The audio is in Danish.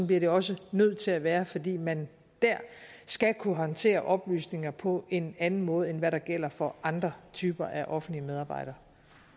bliver det også nødt til at være fordi man der skal kunne håndtere oplysninger på en anden måde end hvad der gælder for andre typer af offentlige medarbejdere